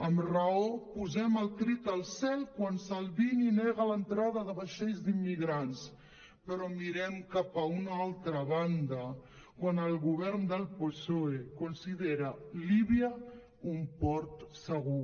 amb raó posem el crit al cel quan salvini nega l’entrada de vaixells d’immigrants però mirem cap a una altra banda quan el govern del psoe considera líbia un port segur